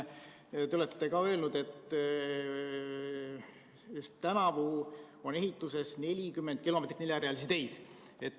Te olete öelnud, et tänavu on ehituses 40 kilomeetrit neljarealisi teid.